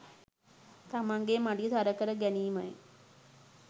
තමන්ගේ මඩිය තරකර ගැනීමයි.